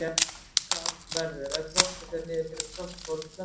Frostkal verður ef frostið fer niður fyrir frostþol plöntunnar.